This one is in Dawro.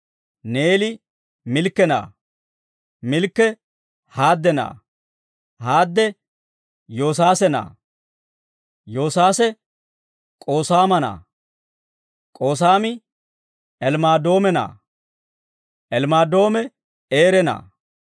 Neeli Milkke na'aa; Milkke Haadde na'aa; Haadde Yoosaase na'aa; Yoosaase K'oosaama na'aa; K'oosaami Elmaadoome na'aa; Elmaadoome Eere na'aa;